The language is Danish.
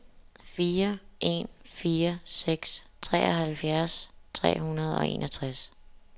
fire en fire seks treoghalvfjerds tre hundrede og enogtres